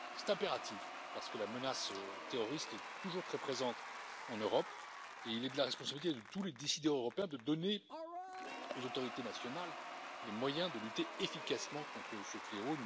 C'est impératif, parce que la menace terroriste est toujours très présente en Europe et il est de la responsabilité de tous les décideurs européens de donner aux autorités nationales les moyens de lutter efficacement contre ce fléau.